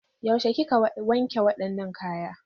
Yaushe kika wanke wadannan kaya?